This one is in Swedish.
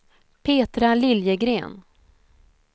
Petra Liljegren